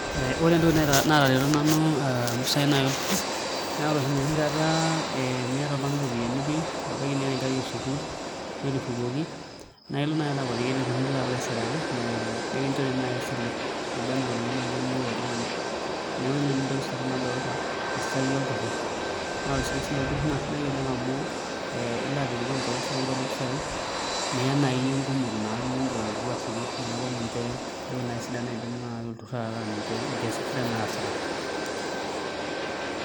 Ore entoki naatareto nanu naa ore enoshi kata miata oltung'ani iropiyiani pii ebaiki niata enkerai esukuul netushukuoki nalo naai akuatiki ele turrur alo aishiraki ee nekinchori naai esile naba enaa iropiyiani naai niyieu oltung'ani, neeku ina entoki sapuk nanu nadolta tesiai olturrur naa ore sii esiai olturrur naa kesidai amu ilo apikipik nkuti pisai niya nai iyie nkumok naa niigil alotu ashuku neeku naa ninche intokitin naai sidan naidim naai olturrur ataa nkiasin sidan naasita.